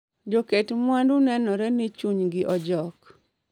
Jo ket mwandu nenore ni chunygi ojok